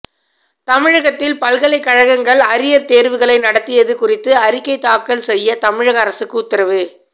தமிழகத்தில் பல்கலைக்கழகங்கள் அரியர் தேர்வுகளை நடத்தியது குறித்து அறிக்கை தாக்கல் செய்ய தமிழக அரசுக்கு உத்தரவு